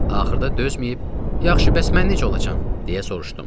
Axırda dözməyib, "Yaxşı, bəs mən necə olacam?" deyə soruşdum.